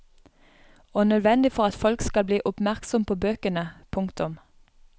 Og nødvendig for at folk skal bli oppmerksom på bøkene. punktum